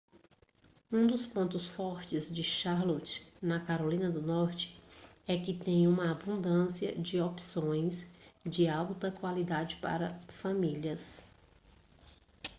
um dos pontos fortes de charlotte na carolina do norte é que tem uma abundância de opções de alta qualidade para famílias